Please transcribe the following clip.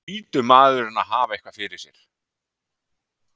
Nú hlýtur maðurinn að hafa eitthvað fyrir sér?